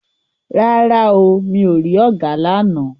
Rárá o, mi ò rí ọ̀gà lána.